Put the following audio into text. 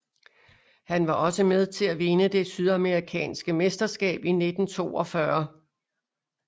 Han var også med til at vinde det sydamerikanske mesterskab i 1942